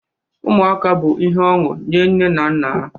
Ụmụaka bụ ihe ọṅụ nye nne na nna ha